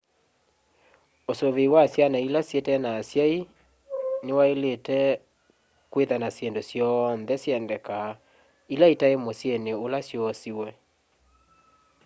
usuvi wa syana ila syitena asyai ni wailite kwitha na syindu syonthe syendekaa ila sitai musyini ula syoosiwe